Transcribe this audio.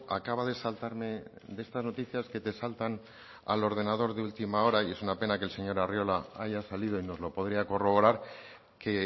acaba de saltarme de estas noticias que te saltan al ordenador de última hora y es una pena que el señor arriola haya salido y nos lo podría corroborar que